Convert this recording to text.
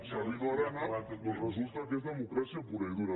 sabino arana doncs resulta que és democràcia pura i dura